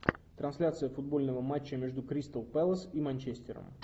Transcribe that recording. трансляция футбольного матча между кристал пэлас и манчестером